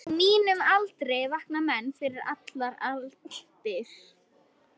Á mínum aldri vakna menn fyrir allar aldir.